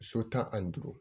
So tan ani duuru